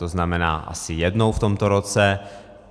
To znamená asi jednou v tomto roce.